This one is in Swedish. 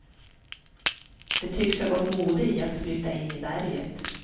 Det tycks ha gått mode i att flytta in i berget.